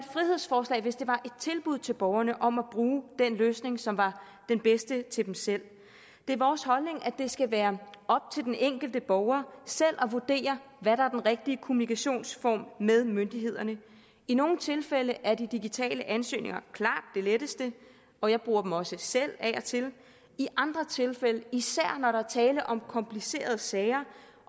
frihedsforslag hvis det var et tilbud til borgerne om at bruge den løsning som var den bedste til dem selv det er vores holdning at det skal være op til den enkelte borger selv at vurdere hvad rigtige kommunikationsform med myndighederne i nogle tilfælde er de digitale ansøgninger klart det letteste og jeg bruger dem også selv af og til i andre tilfælde især når der er tale om komplicerede sager